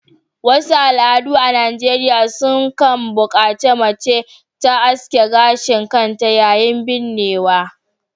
Wasu al’adu a Najeriya suna kan bukaci mace ta aske gashin kanta yayin binnewa